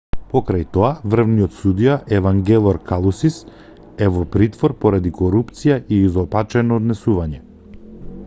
покрај тоа врвниот судија евангелор калусис е во притвор поради корупција и изопачено однесување